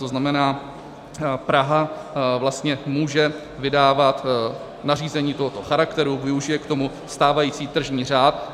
To znamená, Praha vlastně může vydávat nařízení tohoto charakteru, využije k tomu stávající tržní řád.